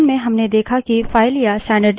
अब इसे व्यावहारिक रूप में देखते हैं